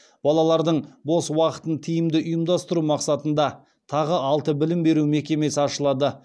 балалардың бос уақытын тиімді ұйымдастыру мақсатында тағы алты білім беру мекемесі ашылады